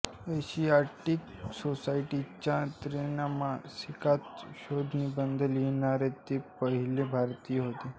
Asiatic सोसायटीच्या त्रैमासिकात शोधनिबंध लिहिणारे ते पहिले भारतीय होते